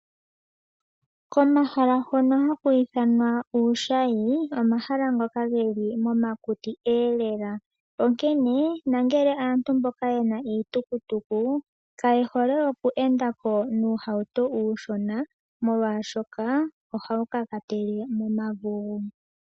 Komahala hono haku ithanwa uushayi omahala ngoka geli momakuti lela. Onkene aantu mboka yena iitukutuku kaye hole oku enda ko nuuhauto mboka uushona omolwashoka ohawu kakatele momavugu.